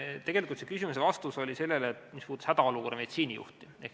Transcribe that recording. Tegelikult see oli vastus sellele, mis puudutas hädaolukorra meditsiinijuhti.